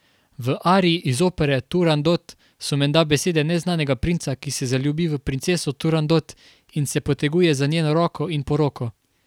V ariji iz opere Turandot so menda besede neznanega princa, ki se zaljubi v princeso Turandot in se poteguje za njeno roko in poroko.